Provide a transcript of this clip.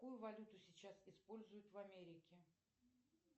какую валюту сейчас используют в америке